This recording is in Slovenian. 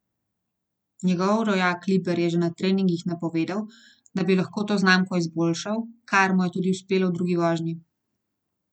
Njegov rojak Liber je že na treningih napovedal, da bi lahko to znamko izboljšal, kar mu je tudi uspelo v drugi vožnji.